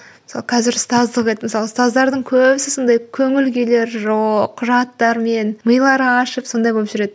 мысалы қазір ұстаздық ет мысалы ұстаздардың көбісі сондай көңіл күйлері жоқ құжаттармен милары ашып сондай болып жүреді